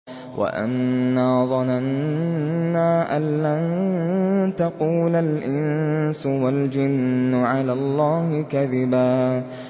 وَأَنَّا ظَنَنَّا أَن لَّن تَقُولَ الْإِنسُ وَالْجِنُّ عَلَى اللَّهِ كَذِبًا